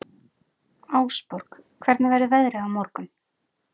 Ásborg, hvernig verður veðrið á morgun?